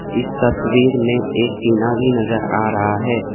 इस तस्वीर में एक टीना भी नजर आ रहा है।